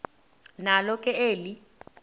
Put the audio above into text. nalo ke eli